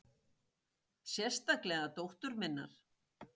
Sérstaklega dóttur minnar.